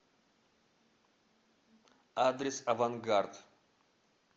адрес авангард